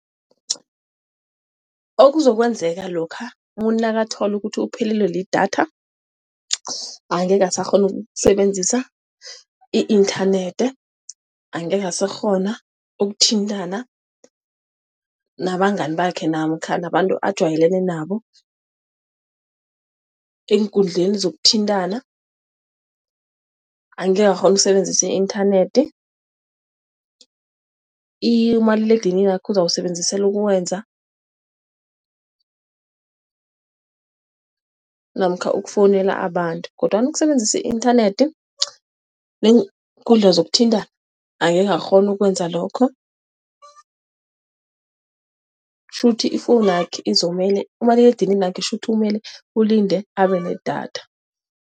Okuzokwenzeka lokha umuntu nakathola ukuthi uphelelwe lidatha, angekhe asakghona ukusebenzisa i-inthanethi, angekhe asakghona ukuthintana nabangani bakhe namkha nabantu ajwayelene nabo, eenkundleni zokuthintana, angekhe akghone ukusebenzisa i-inthanethi. Umaliledininakho uzawusebenzisela ukukwenza namkha ukufowunela abantu. Kodwana ukusebenzisa i-inthanethi neenkundla zokuthintana angeke akghone ukwenza lokho, kutjho ukuthi ifowunakhe izomele, umaliledininakhe kutjho ukuthi umele alinde abe nedatha.